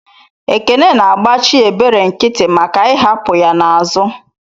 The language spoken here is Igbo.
Ekene na agbachi ebere nkiti maka I'hapu ya n'azu.